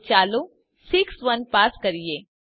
તો ચાલો 61 પાસ કરીએ